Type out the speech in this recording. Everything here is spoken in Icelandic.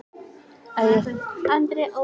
Ungi maðurinn stóð fyrir altari.